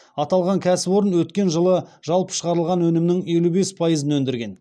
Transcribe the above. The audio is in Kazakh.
аталған кәсіпорын өткен жылы жалпы шығарылған өнімнің елу бес пайызын өндірген